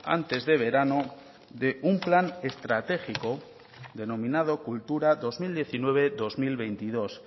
antes de verano de un plan estratégico denominado cultura dos mil diecinueve dos mil veintidós